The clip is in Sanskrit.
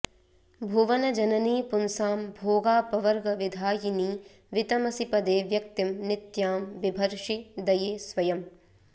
भुवनजननी पुंसां भोगापवर्गविधायिनी वितमसि पदे व्यक्तिं नित्यां बिभर्षि दये स्वयम्